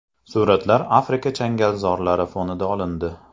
Suratlar Afrika changalzorlari fonida olindi.